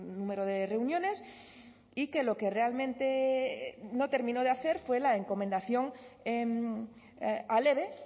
número de reuniones y que lo que realmente no terminó de hacer fue la encomendación al eve